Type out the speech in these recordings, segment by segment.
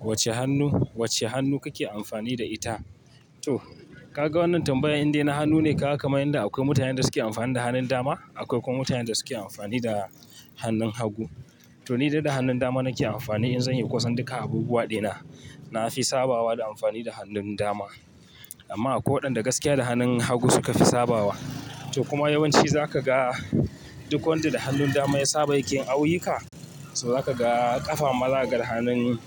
Wacce hannu, wacce hannu kake amfani da ita? To ka ga wannan tambayar indai na hannu ne, ka kaman yanda akwai mutanen da suke amfani da hannun dama, akwai kuma mutanen da suke amfani da hannun hagu. To ni dai da hannun dama nake amfani in zan yi kusan duka abubuwaɗi na. Na fi sabawa da amfani da hannun dama. Amma a kwai wadanda gaskiya da hannun hagu suka fi sabawa. To kuma yawanci za ka ga duk wanda da hannun dama ya saba yake ayyuka, so za ka ga ƙafa mala ga hannun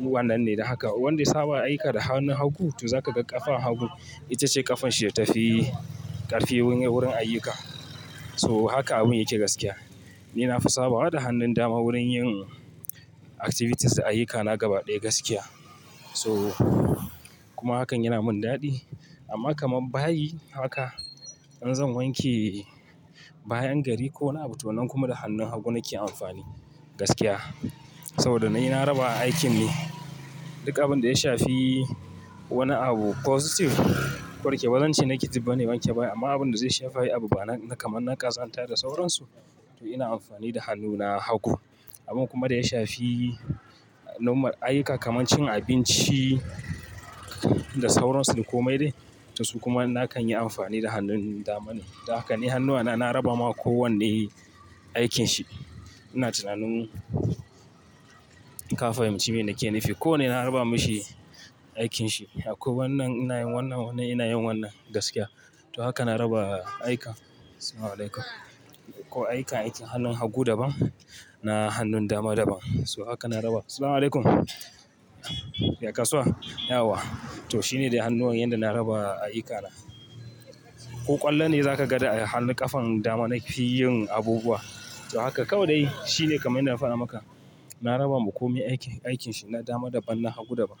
wannan ne da haka. Wanda ya saba ayyuka da hannun hagu, to za ka ga ƙafan hagu itace ƙafan shi ya tafi ƙarfi wurin ayyuka. So haka abun yake gaskiya. Ni na fi sabawa da hannun dama wurin yin activities na ayyuka, na gaba ɗaya gaskiya. So kuma hakan yana mun daɗi. Amma kamar bayi haka in zan wanke bayan gari ko wani abu tunan kuma da hannun hagu nake amfani gaskiya. Saboda na yi, na raba aikin ne. Duk abin da ya shafi wani abu positive ko da kewan ce nake dibba ne, wanke bayi amma abin da zai shafi abu bana kamar naƙazanta da sauransu, to ina amfani da hannuna hagu. Abun kuma da ya shafi nomar ayyuka kamar cin abinci da sauransu ko mai dai, to su kuma na kan yi amfani da hannun dama ne. Da haka ne hannuwana na raba ma kowanne aikanshi. Ina tunanin ka fahimci menake nifi. Ko wanne na raba mishi aikanshi. Akwai wannan ina yin wannan, wannan ina yin wannan gaskiya. To haka na raba aika. Ko aika itin hannun hagu daban na hannun dama daban. So haka na raba. Yaya kasuwa? Yaya wa? To shine da hannuwa yanda na raba aikana. Ko ƙwallo ne za ka ga da hannun ƙafan dama nake yin abubuwa. To haka kawai dai shine kamar ina fada maka. Na raba ma komai aikin, aikanshi, na dama daban, na hagu daban.